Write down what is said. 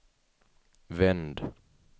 vänd